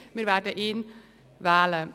Wir werden ihn wählen.